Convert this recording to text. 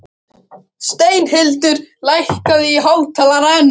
Steinhildur, lækkaðu í hátalaranum.